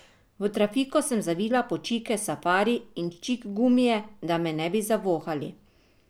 V trafiko sem zavila po čike Safari in čikgumije, da me ne bi zavohali.